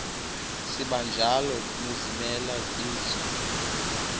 sibanjalo nezimela bizo